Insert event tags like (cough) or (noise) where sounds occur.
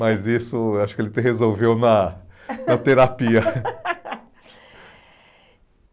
(laughs) Mas isso, acho que ele resolveu na na terapia.